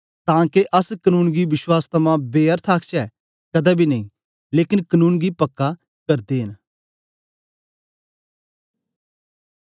तां के अस कनून गी विश्वास थमां बेअर्थ आखचै कदें बी नेई लेकन कनून गी पक्का करदे न